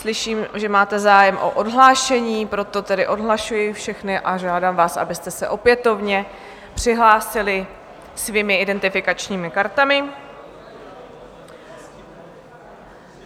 Slyším, že máte zájem o odhlášení, proto tedy odhlašuji všechny a žádám vás, abyste se opětovně přihlásili svými identifikačními kartami.